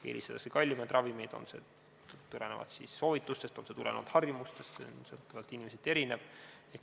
Eelistatakse kallimaid ravimeid, tulenevalt soovitustest või harjumustest, ning see on sõltuvalt inimestest erinev.